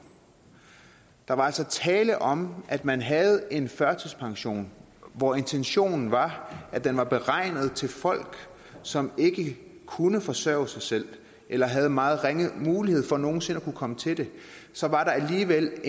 der var altså tale om at man havde en førtidspension hvor intentionen var at den var beregnet til folk som ikke kunne forsørge sig selv eller havde meget ringe mulighed for nogen sinde at kunne komme til det så var der alligevel